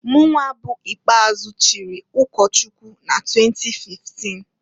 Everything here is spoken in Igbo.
Mụnwa bụ ikpeazụ chiri ụkọchụkwụ na 2015.